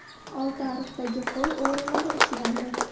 Oltiariqdagi qo‘y o‘g‘rilari ushlandi.